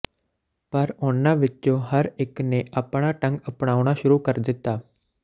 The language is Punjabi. ਪਰ ਉਨ੍ਹਾਂ ਵਿੱਚੋਂ ਹਰ ਇੱਕ ਨੇ ਆਪਣਾ ਢੰਗ ਅਪਨਾਉਣਾ ਸ਼ੁਰੂ ਕਰ ਦਿੱਤਾ